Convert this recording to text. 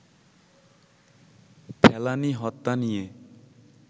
ফেলানী হত্যা নিয়ে